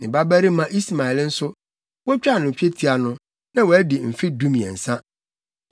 Ne babarima Ismael nso, wotwaa no twetia no, na wadi mfe dumiɛnsa.